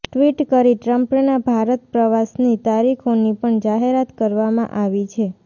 tweet કરી ટ્રમ્પના ભારત પ્રવાસની તારીખોની પણ જાહેરાત કરવામાં આવી છે